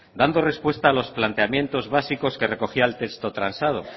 dando respuesta a los planteamientos básicos que recogía el texto transado